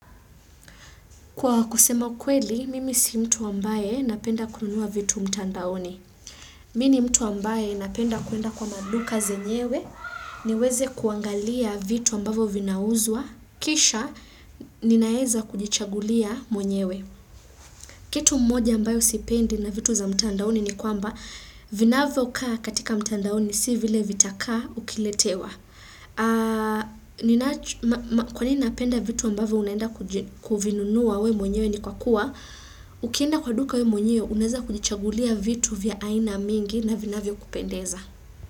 Kwa kusema kweli, mimi si mtu ambaye napenda kununua vitu mtandaoni. Mi ni mtu ambaye napenda kuenda kwa maduka zenyewe, niweze kuangalia vitu ambavyo vinauzwa, kisha ninaeza kujichagulia mwenyewe. Kitu moja ambayo sipendi na vitu za mtandaoni ni kwamba, vinavyo kaa katika mtandaoni si vile vitakaa ukiletewa. Kwa nini napenda vitu ambavyo unaenda kuji kuvinunua we mwenyewe ni kwa kuwa Ukienda kwa duka we mwenyewe unaweza kujichagulia vitu vya aina mingi na vinavyokupendeza.